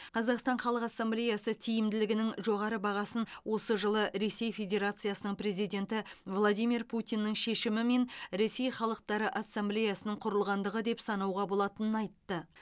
қазақстан халық ассамблеясы тиімділігінің жоғары бағасын осы жылы ресей федерациясының президенті владимир путиннің шешімімен ресей халықтары ассамблеясының құрылғандығы деп санауға болатынын айтты